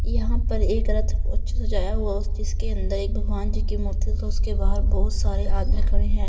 यहां पर एक रथ को अच्छे से सजाया हुआ है उस जिसके अंदर एक भगवान जी की मूर्ति और उसके बाहर बहुत सारे आदमी खड़े हैं।